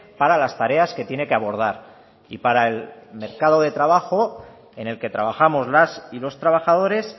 para las tareas que tiene que abordar y para el mercado de trabajo en el que trabajamos las y los trabajadores